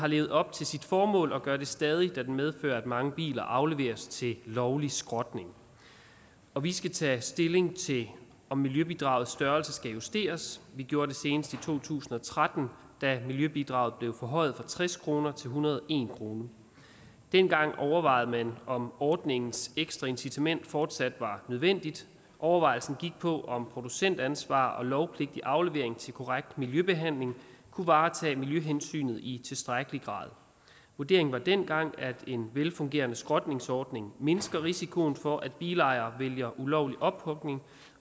har levet op til sit formål og gør det stadig da den medfører at mange biler afleveres til lovlig skrotning og vi skal tage stilling til om miljøbidragets størrelse skal justeres vi gjorde det senest i to tusind og tretten da miljøbidraget blev forhøjet fra tres kroner til en hundrede og en kroner dengang overvejede man om ordningens ekstraincitament fortsat var nødvendigt overvejelsen gik på om producentansvar og lovpligtig aflevering til korrekt miljøbehandling kunne varetage miljøhensynet i tilstrækkelig grad vurderingen var dengang at en velfungerende skrotningsordning mindsker risikoen for at bilejere vælger ulovlig ophugning